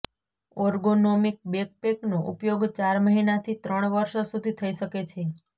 ergonomic બેકપેકનો ઉપયોગ ચાર મહિનાથી ત્રણ વર્ષ સુધી થઈ શકે છે